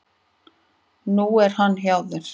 Nú er hann hjá þér.